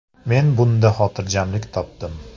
Men bunda xotirjamlik topdim.